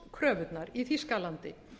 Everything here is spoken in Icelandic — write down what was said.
innlánskröfurnar í þýskalandi